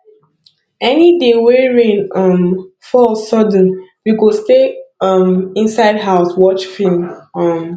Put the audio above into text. any day wey rain um fall sudden we go stay um inside house watch film um